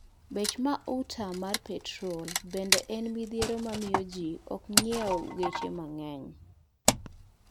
Bech mauta mar petrol bende en midhiero mamiyo jii ok nyiew geche mang'wny